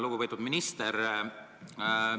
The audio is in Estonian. Lugupeetud minister!